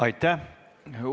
Aitäh!